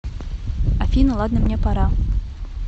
афина ладно мне пора